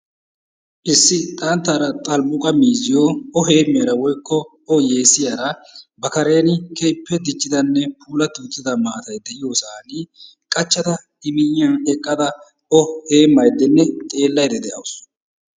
Issi xanttaara xalbbuqqa miizziyo o heemmiyaara woykko o yeesiyaara ba karen keehippe diccidanne puulatida maatay de'iyosaan qachchada I miyyiyan eqqada O heemmaydenne xeelayda de'awusu.